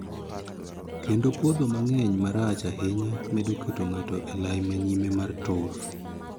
Kendo podho mang'eny marach ahinya medo keto ngato e lai ma nyime mar tur.